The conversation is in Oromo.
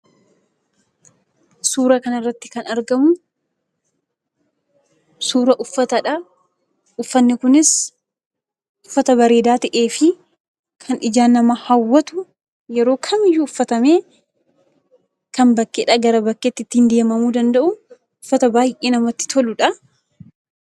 Suuraa kanarratti kan argamu suuraa uffataadha. Uffanni kunis uffata bareedaa ta'ee fi kan ijaan nama ijaan nama hawwatu yeroo kamiyyuu uffatamee kan bakkeedhaa gara bakkeetti ittiin deemamuu danda'u uffata baay'ee namatti toludha.